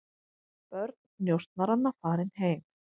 Börn njósnaranna farin heim